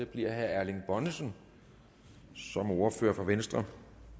bliver herre erling bonnesen som ordfører for venstre